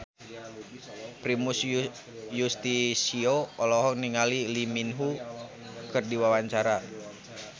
Primus Yustisio olohok ningali Lee Min Ho keur diwawancara